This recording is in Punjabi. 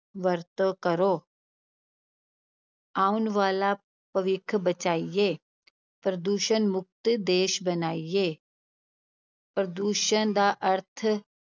ਵਰਤੋਂ ਕਰੋ ਆਉਣ ਵਾਲਾ ਭਵਿੱਖ ਬਚਾਈਏ, ਪ੍ਰਦੂਸ਼ਣ ਮੁਕਤ ਦੇਸ ਬਣਾਈਏ ਪ੍ਰਦੂਸ਼ਣ ਦਾ ਅਰਥ